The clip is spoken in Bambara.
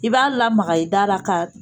I b'a lamaga i da ra ka